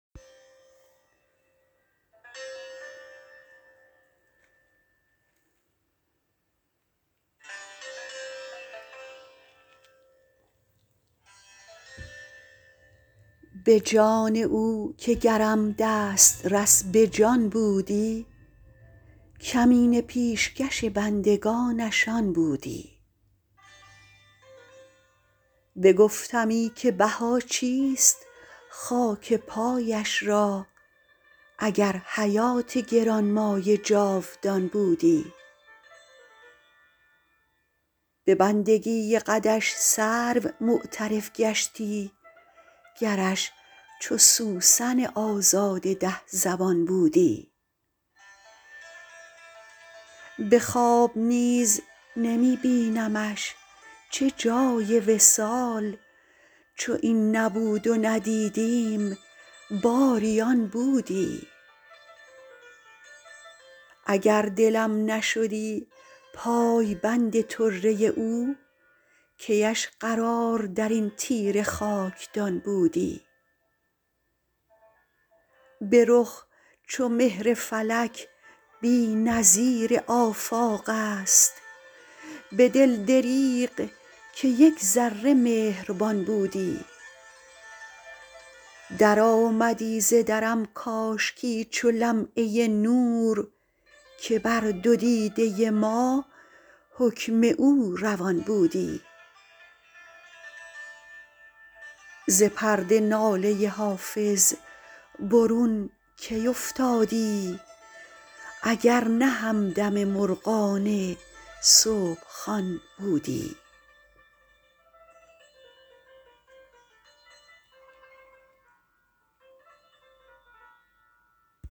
به جان او که گرم دسترس به جان بودی کمینه پیشکش بندگانش آن بودی بگفتمی که بها چیست خاک پایش را اگر حیات گران مایه جاودان بودی به بندگی قدش سرو معترف گشتی گرش چو سوسن آزاده ده زبان بودی به خواب نیز نمی بینمش چه جای وصال چو این نبود و ندیدیم باری آن بودی اگر دلم نشدی پایبند طره او کی اش قرار در این تیره خاکدان بودی به رخ چو مهر فلک بی نظیر آفاق است به دل دریغ که یک ذره مهربان بودی درآمدی ز درم کاشکی چو لمعه نور که بر دو دیده ما حکم او روان بودی ز پرده ناله حافظ برون کی افتادی اگر نه همدم مرغان صبح خوان بودی